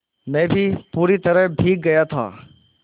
मैं भी पूरी तरह भीग गया था